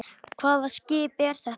Hvaða skip er þetta?